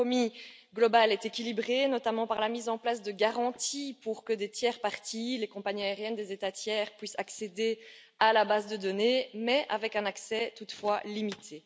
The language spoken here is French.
Le compromis global est équilibré, notamment par la mise en place de garanties pour que des tierces parties, les compagnies aériennes des États tiers, puissent accéder à la base de données, mais avec un accès toutefois limité.